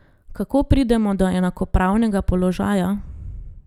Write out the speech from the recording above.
Kako pridemo do enakopravnega položaja?